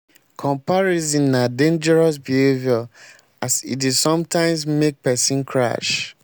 comparison na dangerious behavior as e dey sometimes make pesin crash.